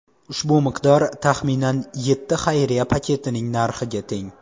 Ushbu miqdor taxminan yetti xayriya paketining narxiga teng.